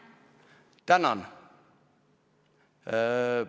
Tänan!